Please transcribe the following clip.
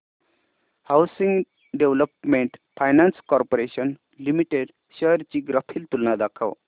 housing Development Finance Corporation Limited shares ची graphical तुलना दाखव